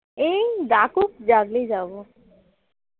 এই ডাকুক ডাকলেই যাব